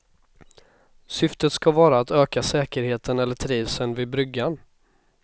Syftet ska vara att öka säkerheten eller trivseln vid bryggan.